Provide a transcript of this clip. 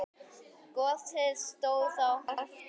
Gosið stóð í hálft ár.